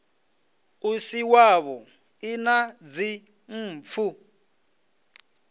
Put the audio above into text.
u si wavhuḓi na dzimpfu